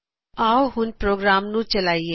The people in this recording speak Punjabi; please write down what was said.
ਆਓ ਹੁਣ ਪ੍ਰੋਗਰਾਮ ਨੂੰ ਚਲਾਇਏ